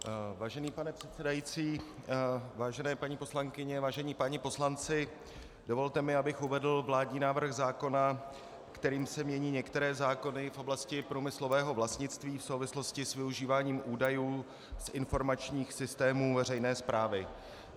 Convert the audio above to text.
Vážený pane předsedající, vážené paní poslankyně, vážení páni poslanci, dovolte mi, abych uvedl vládní návrh zákona, kterým se mění některé zákony v oblasti průmyslového vlastnictví v souvislosti s využíváním údajů z informačních systémů veřejné správy.